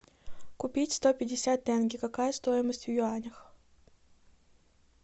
купить сто пятьдесят тенге какая стоимость в юанях